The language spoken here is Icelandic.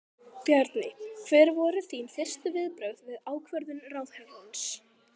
Bjarni, hver voru þín fyrstu viðbrögð við ákvörðun ráðherrans?